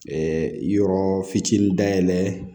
yɔrɔ fitinin dayɛlɛ